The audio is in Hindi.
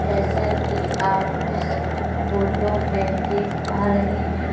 जैसे की आप इस फोटो में देख पा रहे हैं।